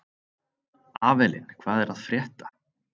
Avelin, hvað er að frétta?